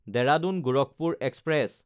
Dehradun Gorakhpur express